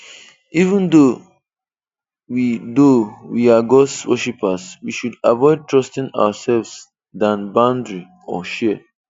Even though we though we are God's worshipers, we should avoid trusting ourselves than boundary/share.